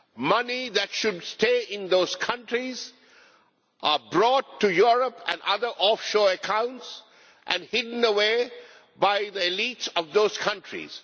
Money that should stay in those countries is brought to Europe and other offshore accounts and hidden away by the elite of those countries.